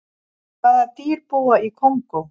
hvaða dýr búa í kongó